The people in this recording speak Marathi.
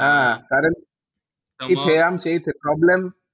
अह कारण तिथे आमचे इथे problem